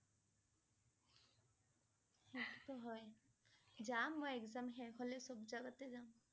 সেইটো টো হয় । জাম মই exam শেষ হলে সব জেগতে জাম ।